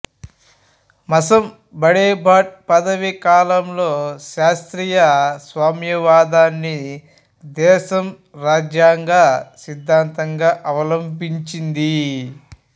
మస్సంబాడెబాట్ పదవీకాలంలో శాస్త్రీయ సామ్యవాదాన్ని దేశం రాజ్యాంగ సిద్ధాంతంగా అవలంబించింది